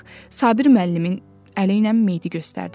Bax Sabir müəllimin əliylə meyid göstərdi.